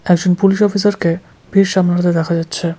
একজন পুলিশ অফিসারকে ভিড় সামলাতে দেখা যাচ্ছে।